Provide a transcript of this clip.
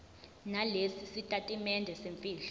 nalesi sitatimende semfihlo